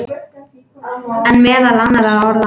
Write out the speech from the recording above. En meðal annarra orða.